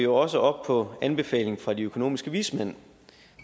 også op på anbefalingen fra de økonomiske vismænd